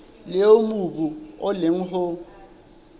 leo mobu o leng ho